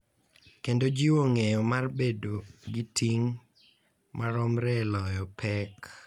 Kendo jiwo ng’eyo mar bedo gi ting’ maromre e loyo pek.